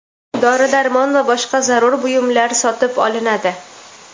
dori-darmon va boshqa zarur buyumlar sotib olinadi.